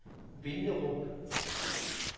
Vinderup